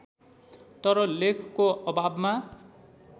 तर लेखको अभावमा